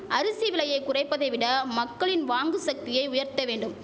அரிசி விலையை குறைப்பதை விட மக்களின் வாங்கு சக்தியை உயர்த்த வேண்டும்